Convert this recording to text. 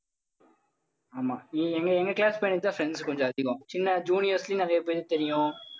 ஆமா. அஹ் எங்~ எங்க class friends தான் friends கொஞ்சம் அதிகம் ஏன்னா juniors லயும் நிறைய பேரு தெரியும்